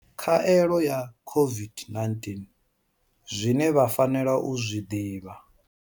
Khaelo ya COVID-19 zwine vha fanela u zwi ḓivha.